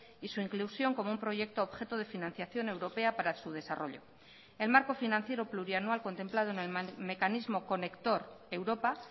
y su inclusión como un proyecto objeto de financiación europea para su desarrollo el marco financiero plurianual contemplado en el mecanismo conector europa